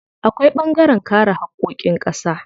Akwai ɓangaren kare haƙƙoƙin ƙasa.